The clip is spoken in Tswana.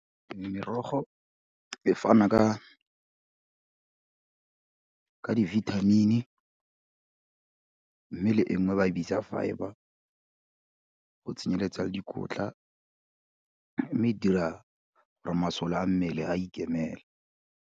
Merogo e fana ka dibithamini mme le e nngwe ba e bitsa fibre, go tsenyeletsa le dikotla, mme di dira gore masole a mmele a ikemele.